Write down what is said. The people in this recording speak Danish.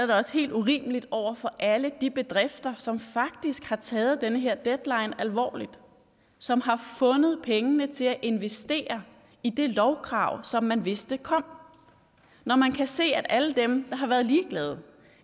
da også helt urimeligt over for alle de bedrifter som faktisk har taget den her deadline alvorligt og som har fundet pengene til at investere i det lovkrav som man vidste kom når man kan se at alle dem der har været ligeglade